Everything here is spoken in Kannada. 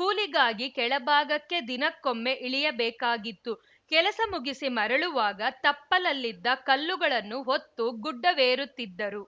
ಕೂಲಿಗಾಗಿ ಕೆಳಭಾಗಕ್ಕೆ ದಿನಕ್ಕೊಮ್ಮೆ ಇಳಿಯಬೇಕಾಗಿತ್ತು ಕೆಲಸ ಮುಗಿಸಿ ಮರಳುವಾಗ ತಪ್ಪಲಲ್ಲಿದ್ದ ಕಲ್ಲುಗಳನ್ನು ಹೊತ್ತು ಗುಡ್ಡವೇರುತ್ತಿದ್ದರು